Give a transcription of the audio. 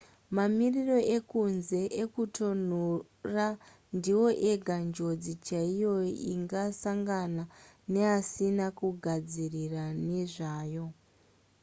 mamiriro ekunze ekutonhora ndiwo ega njodzi chaiyo ingasangana neasina kugadzirira nezvayo